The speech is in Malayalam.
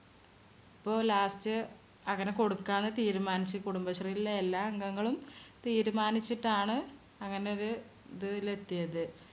ഇപ്പോ last അങ്ങനെ കൊടുക്കാനാ തീരുമാനിച്ച്. കുടുംബശ്രീയിലെ എല്ലാ അംഗങ്ങളും തീരുമാനിച്ചിട്ടാണ് അങ്ങനെ ഒരു ഇതില് എത്തിയത്.